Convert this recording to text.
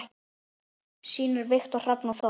Synir: Viktor Hrafn og Þór.